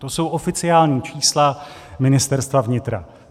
To jsou oficiální čísla Ministerstva vnitra.